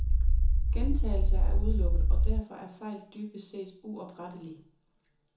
Gentagelse er udelukket, og derfor er fejl dybest set uoprettelige.